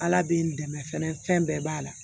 Ala bɛ n dɛmɛ fɛnɛ fɛn bɛɛ b'a la